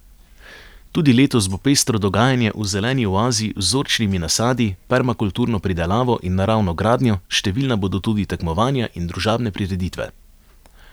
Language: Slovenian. Tudi letos bo pestro dogajanje v zeleni oazi z vzorčnimi nasadi, permakulturno pridelavo in naravno gradnjo, številna bodo tudi tekmovanja in družabne prireditve.